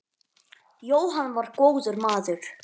Jóhann var góður maður.